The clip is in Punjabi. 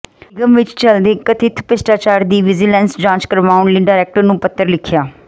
ਨਿਗਮ ਵਿੱਚ ਚਲਦੇ ਕਥਿਤ ਭ੍ਰਿਸ਼ਟਾਚਾਰ ਦੀ ਵਿਜੀਲੈਂਸ ਜਾਂਚ ਕਰਵਾਉਣ ਲਈ ਡਾਇਰੈਕਟਰ ਨੂੰ ਪੱਤਰ ਲਿਖਿਆ